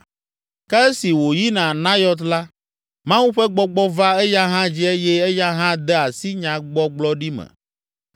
Ke esi wòyina Nayɔt la, Mawu ƒe gbɔgbɔ va eya hã dzi eye eya hã de asi nyagbɔgblɔɖi me!